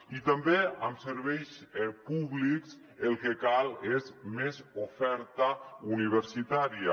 i també en serveis públics el que cal és més oferta universitària